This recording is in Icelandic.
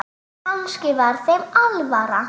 Kannski var þeim alvara.